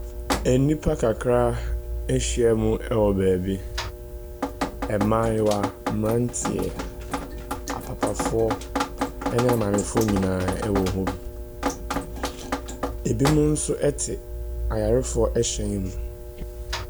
Nnipa kakra ahyiam wɔ baabi. Ɛmmaayewa, mmaranteɛ, apapafoɔ ne maamefoɔ nyinaa wɔ hɔ bi. Ɛbinom nso te ayarefoɔ hyɛn mu.